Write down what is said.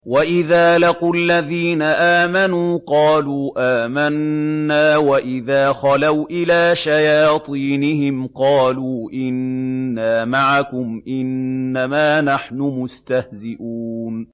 وَإِذَا لَقُوا الَّذِينَ آمَنُوا قَالُوا آمَنَّا وَإِذَا خَلَوْا إِلَىٰ شَيَاطِينِهِمْ قَالُوا إِنَّا مَعَكُمْ إِنَّمَا نَحْنُ مُسْتَهْزِئُونَ